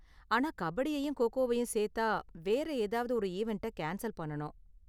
ஆனா கபடியையும் கோ கோவயும் சேத்தா வேற ஏதாவது ஒரு ஈவண்ட்ட கேன்ஸல் பண்ணனும்.